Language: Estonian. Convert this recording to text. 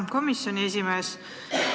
Hea komisjoni esimees!